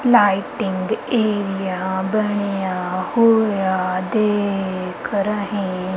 lighting area ਬਣਿਆ ਹੋਇਆ ਦੇਖ ਰਹੇਂ--